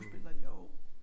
En skuespiller jo